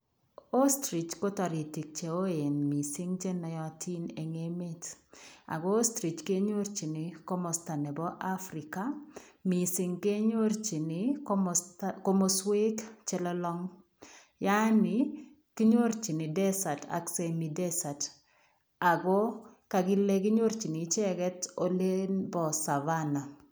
Ostrich ko toritik cheoen mising chenoyotin eng' emet ak ko ostrich kenyorchin komosto nebo Africa mising kenyorchin komosto, komoswek chelolong yaani kinyorchin desert ak semi desert ak ko kokile kinyorchin icheket oliin bo Savannah.